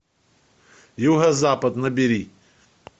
юго запад набери